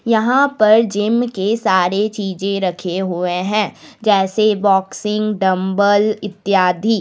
यहां पर जिम के सारे चीजें रखे हुए हैं जैसे बॉक्सिंग डंबल इत्यादि।